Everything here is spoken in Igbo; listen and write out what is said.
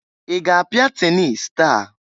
I ga-apịa tenis taa?